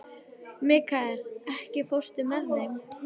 Mikkael, ekki fórstu með þeim?